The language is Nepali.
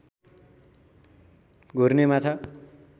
घुर्ने माछा